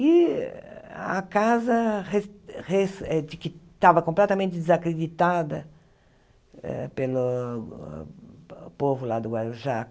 E a casa res res eh ti estava completamente desacreditada pelo povo lá do Guarujá.